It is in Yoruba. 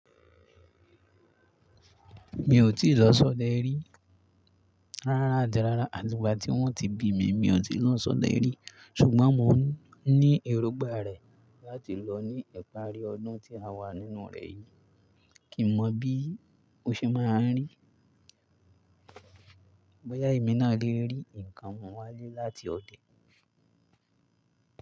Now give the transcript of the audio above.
Mi ò tí lọ sọdẹ rí. Rárá ati rárá, àti ìgbà tí wọ́n ti bí mi, mi ò ti lọ sọdẹ rí. Ṣùgbọ́n mò ń ní èrógbà rẹ̀ láti lọ ní ìparí ọdún tí a wà nínú rẹ yìí. Kì mọ̀ bí ó ṣe máa n rí, bóyá èmi náà lè rí nǹkan mu wálé láti ọdẹ.